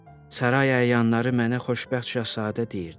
Saray əyanları mənə xoşbəxt şahzadə deyirdilər.